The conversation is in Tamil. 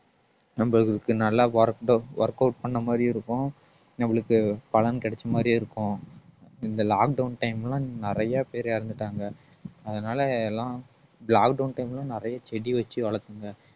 நம்மளுக்கு நல்லா workedout workout பண்ண மாதிரியும் இருக்கும் நம்மளுக்கு பலன் கிடைச்ச மாதிரியும் இருக்கும் இந்த lockdown time ல நிறைய பேர் இறந்துட்டாங்க அதனால எல்லாம் lockdown time ல நிறைய செடி வச்சு வளர்த்துங்க